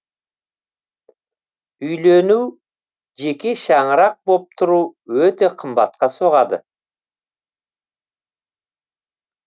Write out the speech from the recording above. үйлену жеке шаңырақ боп тұру өте қымбатқа соғады